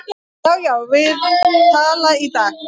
Já, já, við tala í dag